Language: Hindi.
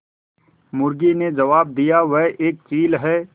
मुर्गी ने जबाब दिया वह एक चील है